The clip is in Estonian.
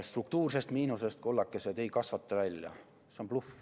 Struktuursest miinusest, kullakesed, ei kasvata välja, see on bluff.